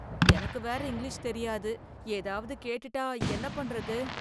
எனக்கு வேற இங்கிலீஷ் தெரியாது ஏதாவது கேட்டுட்டா என்ன பண்றது?